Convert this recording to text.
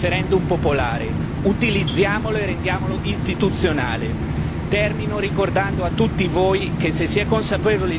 Esiste uno strumento che dà voce ai cittadini e al loro volere è il referendum popolare, utilizziamolo e rendiamolo istituzionale.